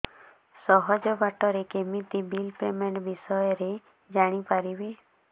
ସହଜ ବାଟ ରେ କେମିତି ବିଲ୍ ପେମେଣ୍ଟ ବିଷୟ ରେ ଜାଣି ପାରିବି